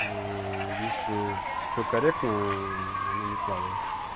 если всё корректно она не плавает